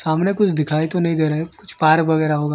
सामने कुछ दिखाई तो नहीं दे रहें कुछ पार्क वगैरा होगा।